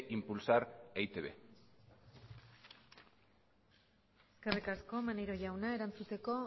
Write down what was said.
impulsar e i te be eskerrik asko maneiro jauna erantzuteko